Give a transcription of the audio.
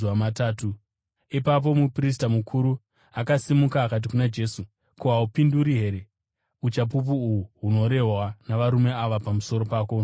Ipapo muprista mukuru akasimuka akati kuna Jesu, “Ko, haupinduri here? Uchapupu uhu hunorehwa navarume ava pamusoro pako ndohwei?”